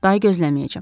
Day gözləməyəcəm.